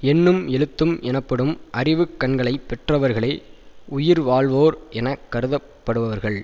எண்ணும் எழுத்தும் எனப்படும் அறிவு கண்களை பெற்றவர்களே உயிர் வாழ்வோர் என கருதப்படுபவர்கள்